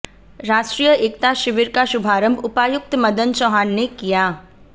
राष्ट्रीय एकता शिविर का शुभारंभ उपायुक्त मदन चौहान ने किया